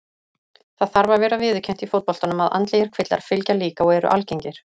Það þarf að vera viðurkennt í fótboltanum að andlegir kvillar fylgja líka og eru algengir.